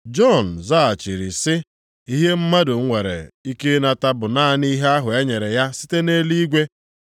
Jọn zaghachiri sị, “Ihe mmadụ nwere ike ịnata bụ naanị ihe ahụ e nyere ya site nʼeluigwe.